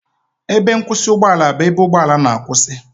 Ebe nkwụsị ụgbọ ala bụ ebe ụgbọ ala na-akwụsị